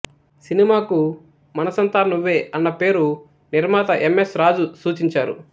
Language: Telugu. సినిమాకు మనసంతా నువ్వే అన్న పేరు నిర్మాత ఎం ఎస్ రాజు సూచించారు